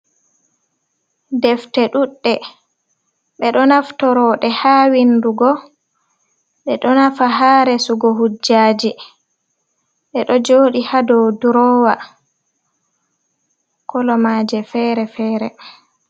Defte ɗuuɗe, ɓe ɗo naftoroo ɗe haa windugo, ɗe ɗo nafa haa resugo hujjaaji, ɗe ɗo jooɗi haa dow Drowa, kolo maaje feere-feere.